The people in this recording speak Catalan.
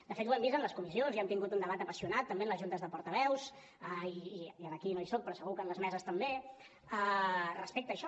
de fet ho hem vist en les comissions i hem tingut un debat apassionat també en les juntes de portaveus i aquí no hi soc però segur que en les meses també respecte a això